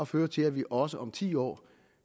føre til at vi også om ti år